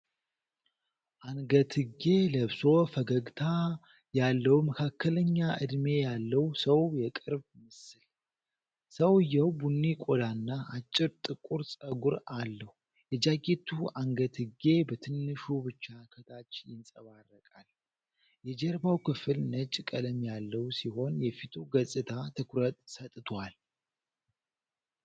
አንገትጌ ለብሶ ፈገግታ ያለው መካከለኛ እድሜ ያለው ሰው የቅርብ ምስል። ሰውየው ቡኒ ቆዳና አጭር ጥቁር ፀጉር አለው። የጃኬቱ አንገትጌ በትንሹ ብቻ ከታች ይንጸባረቃል። የጀርባው ክፍል ነጭ ቀለም ያለው ሲሆን የፊቱ ገፅታ ትኩረት ሰጥቷል።